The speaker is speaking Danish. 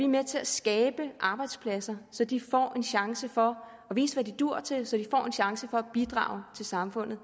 med til at skabe arbejdspladser så de får en chance for at vise hvad de duer til så de får en chance for at bidrage til samfundet